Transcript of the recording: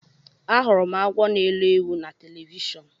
Ahụrụ m agwọ na elọ ewu na telivishọn.